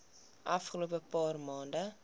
afgelope paar maande